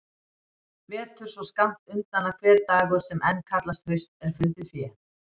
Vetur svo skammt undan að hver dagur sem enn kallast haust er fundið fé.